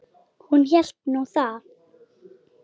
Hún hélt nú það.